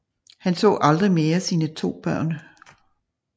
Hun så aldrig mere sine 2 børn